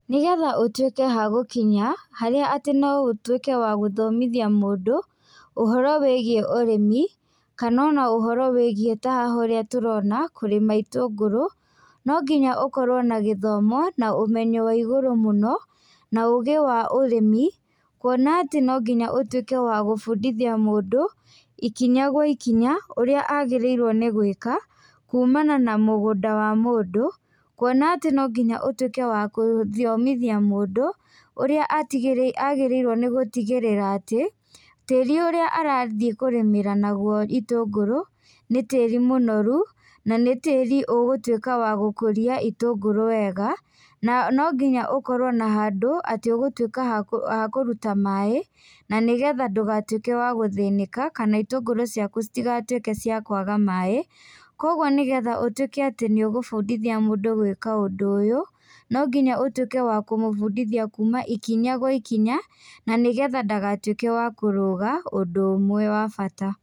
Nĩgetha ũtuĩke hagũkinya harĩa tĩ no ũtuĩke wa gũthomithia mũndũ, ũhoro wĩgiĩ ũrĩmi, kana ũhoro wĩgiĩ ta haha ũrĩa tũrona kũrĩma itũngũrũ, no nginya ũkorwo na gĩthomo na ũmenyo wa igũrũ mũno, na ũgĩ wa ũrĩmi, kwona atĩ no nginya ũtuĩke wa gũbundithia mũndũ ikinya gwa ikinya, ũrĩa agĩrĩirwo nĩ gwĩka, kumana na mũgũnda wa mũndũ, kwona atĩ no nginya ũtuĩke wa gũthomithia mũndũ, ũrĩa agĩrĩirwo nĩ gutigĩrĩra atĩ, tĩri ũrĩa arathiĩ kũrĩmĩra naguo itũngũrũ, nĩ tĩri mũnorũ na nĩ tĩri ũgũtuĩka wa gũkũria itũngũrũ wega, na nonginya ũkorwo na handũ atĩ ũgũtuĩka hakũruta maĩ, na nĩgetha ndũgatwĩke wa gũthĩnĩka na itũngũrũ ciaku citigatuĩke cia kwaga maĩ, kwoguo nĩgetha ũtuĩke atĩ nĩ ũgũbundithia mũndũ gwĩka ũndũ ũyũ, no nginya ũtuĩke wa kũmũbundithia kuuma ikinya gwa ikinya, na nĩgetha ndagatuĩke wa kũrũga ũndũ ũmwe wa bata.